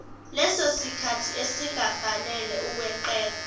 lesosikhathi esingafanele ukweqela